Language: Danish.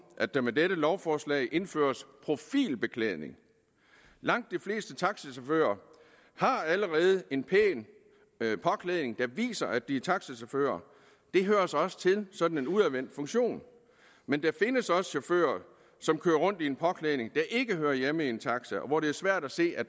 at der med det lovforslag indføres profilbeklædning langt de fleste taxichauffører har allerede en pæn påklædning der viser at de er taxichauffører det hører sig også til sådan en udadvendt funktion men der findes også chauffører som kører rundt i en påklædning der ikke hører hjemme i en taxa og hvor det er svært at se at